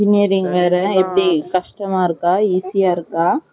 engineering வேற எப்படி கஷ்டமா இருக்கா easy யா இருக்கா?